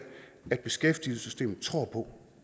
at beskæftigelsessystemet tror på